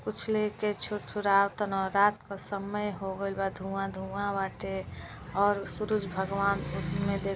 कुछ लेके छुरछुरावताना रात का समय होगल बा धुवां-धुवां बाटे और सूरज भगवान् ओहि में देख --